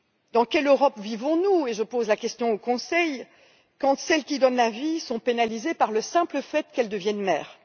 Dans quelle Europe vivons nous je pose la question au Conseil quand celles qui donnent la vie sont pénalisées par le simple fait qu'elles deviennent mères?